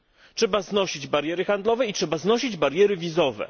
Trzeba znosić bariery handlowe i trzeba znosić bariery wizowe.